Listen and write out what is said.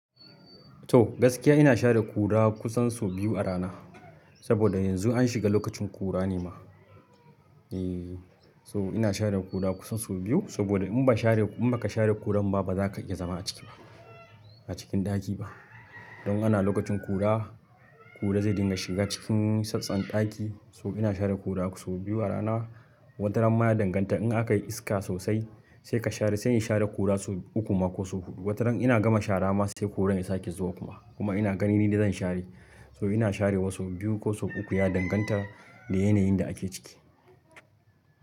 To gaskiya ina share ƙura kusan sau biyu a rana. Saboda yanzu an shiga lokacin ƙura ne ma. Eee so ina share ƙura kusan sau biyu saboda in ba share, in baka share ƙuran ba baza ka iya zama a ciki ba, a cikin ɗakin ba. Don ana lokacin kura, kura zai dinga shiga cikin sassan ɗaki so ina share kura sau biyu a rana. Wata ranan ma ya danganta in aka yi iska sosai sai ka share sai in share kura sau uku ma ko sau huɗu. Wata ran ina gama shara ma sai kuran ya sake zuwa kuma. Kuma ina gani ni dai zan share. So ina share wasu biyu ko sau uku ya danganta da yanayin da ake ciki.